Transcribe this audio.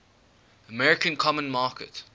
american common market